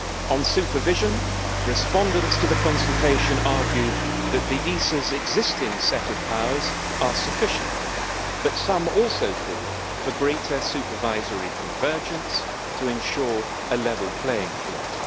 On supervision, respondents to the consultation argued that the ESA's existing set of powers are sufficient, but some also called for greater supervisory convergence to ensure a level playing field.